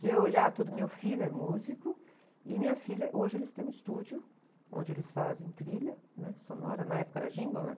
Se eu olhar tudo, meu filho é músico e minha filha, hoje eles têm um estúdio onde eles fazem trilha, né? Sonora, na época era jingle, né?